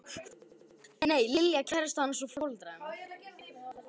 Nei, Lilja kærastan hans og foreldrar hennar.